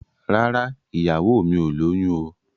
Rárá, ìyàwó mi ò lóyún o.